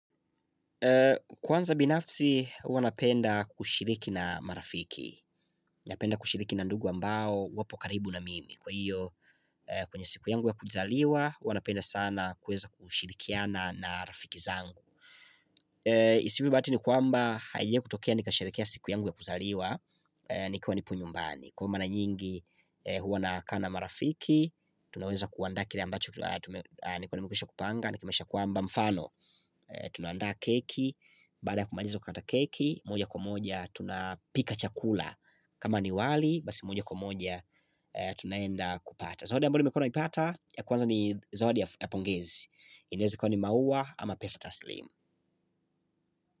Kwanza binafsi, huwa napenda kushiriki na marafiki Napenda kushiriki na ndugu ambao wapokaribu na mimi Kwa hiyo, kwenye siku yangu ya kuzaliwa, wanapenda sana kuweza kushirikiana na rafiki zangu isiwe bahati ni kwamba, haijia kutoka, nikasherehekea siku yangu ya kuzaliwa Nikiwa nipo nyumbani Kwa hiyo mara nyingi, huwa nakaa na marafiki Tunaweza kuandaa kile ambacho, nikuwa nimekwisha kupanga, nikwisha kupanga mfano Tunandaa keki baada ya kumaliza kata keki moja kwa moja tunapika chakula kama ni wali Basi moja kwa moja Tunaenda kupata Zawadi amboyo nimekuwa nimepata ya kwanza ni Zawadi ya pongezi inaeza kuwa ni maua ama pesa taslim.